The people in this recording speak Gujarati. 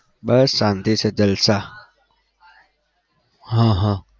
બસ શાંતિ છે જલસા હા હા